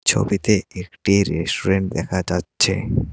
ছবিতে একটি রেস্যুরেন্ট দেখা যাচ্ছে।